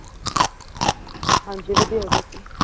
ਹਾਂਜੀ ਵਧੀਆ ਹੋਗੇ ਸੀ